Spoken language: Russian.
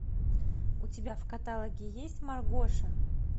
у тебя в каталоге есть маргоша